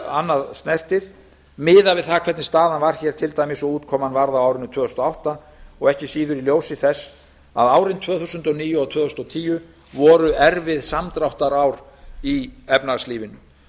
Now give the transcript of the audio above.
annað snertir miðað við það hvernig staðan var hér til dæmis og útkoman varð á árinu tvö þúsund og átta og ekki síður í ljósi þess að árin tvö þúsund og níu og tvö þúsund og tíu voru erfið samdráttarár í efnahagslífinu